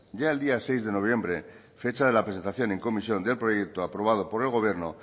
ya el día seis de noviembre fecha de la presentación en comisión del proyecto aprobado por el gobierno